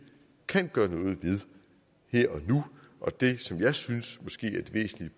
kan gøre ved her og nu og det som jeg synes